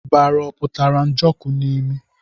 Ọ bụ ọbara pụtara Njoku n'imi?